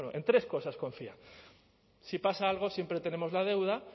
bueno en tres cosas confiaban si pasa algo siempre tenemos la deuda